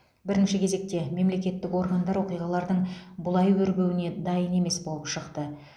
бірінші кезекте мемлекеттік органдар оқиғалардың бұлай өрбуіне дайын емес болып шықты